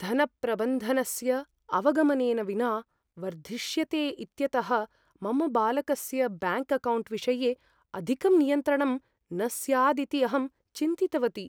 धनप्रबन्धनस्य अवगमनेन विना वर्धिष्यते इत्यतः मम बालकस्य ब्याङ्क् अकौण्ट् विषये अधिकं नियन्त्रणम् न स्यादिति अहं चिन्तितवती।